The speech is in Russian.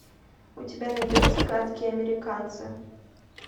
у тебя найдется гадкие американцы